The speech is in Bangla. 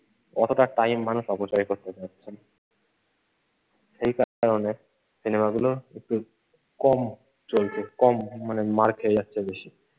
অতটা time মানুষ অপচয় করতে চাইছে না। সেই কারণে সিনেমাগুলো একটু কম চলছে কম মানে মার খেয়ে যাচ্ছে বেশি।